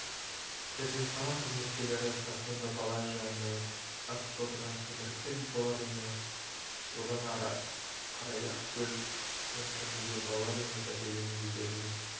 перзентхана қызметкерлері тастанды бала жайында акт толтырған кейінірек сәби балалар үйіне одан ары қарай ақкөл кентіндегі балалар үйіне тәрбиеленуге берілген